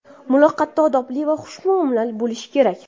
Muloqotda odobli va xushmuomala bo‘lish kerak.